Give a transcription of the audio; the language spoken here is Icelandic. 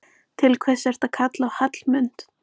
Til hvers ertu að kalla á Hallmund?